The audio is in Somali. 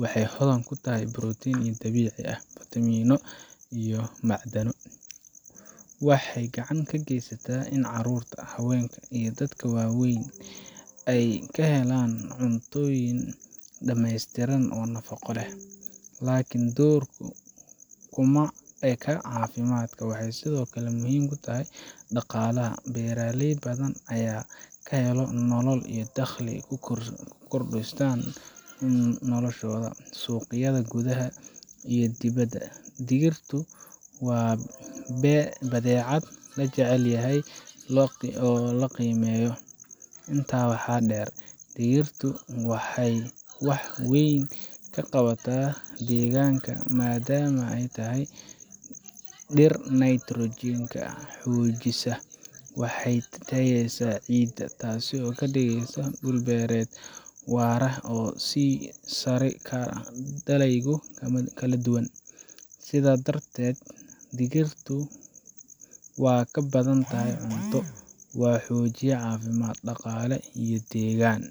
Waxay hodan ku tahay borotiinno dabiici ah, fiitamiino, iyo macdano. Waxay gacan ka geysataa in carruurta, haweenka, iyo dadka waayeelka ah ay helaan cunto dhameystiran oo nafaqo leh. Laakiin doorkeedu kuma eka caafimaadka. Waxay sidoo kale muhiim u tahay dhaqaalaha. Beeraley badan ayaa ka helo nolol iyo dakhli ay qoysaskooda ku maareeyaan. Suuqyada gudaha iyo dibaddaba, digirtu waa badeecad la jecel yahay oo la qiimeeyo. Intaa waxaa dheer, digirtu waxay wax weyn ka qabataa deegaanka. Maadaama ay tahay dhir nitrogen ka xoojisa, waxay tayeyneysaa ciidda, taasoo ka dhigaysa dhul beereed waara oo soo saari kara dalagyo kala duwan. Sidaas darteed, digirtu waa ka badan tahay cunto. Waa xoojiye caafimaad, dhaqaale, iyo deegaan